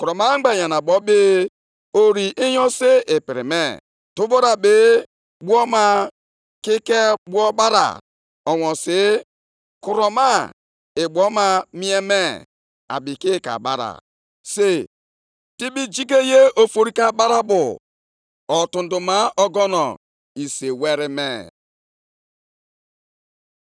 Onye kachasị ihe niile elu, bụ Onyenwe anyị bụ ike m, ọ na-eme ụkwụ m abụọ ka ha dịka nke ele. + 3:19 Ịdị ngwa nʼịgba ọsọ Ọ na-emekwa ka m zọọ ije nʼebe niile dị elu. Nke a dịrị onyeisi abụ, nʼụbọ akwara m dị iche iche.